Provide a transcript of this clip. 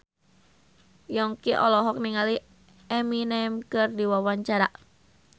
Yongki olohok ningali Eminem keur diwawancara